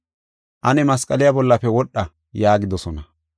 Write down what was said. ane masqaliya bollafe wodha; ne huuphiya ashsha” yaagidosona.